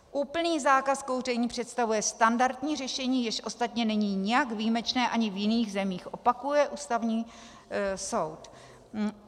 Úplný zákaz kouření přestavuje standardní řešení, jež ostatně není nijak výjimečné ani v jiných zemích, opakuje Ústavní soud.